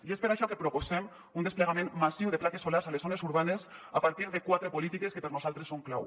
i és per això que proposem un desplegament massiu de plaques solars a les zones urbanes a partir de quatre polítiques que per nosaltres són clau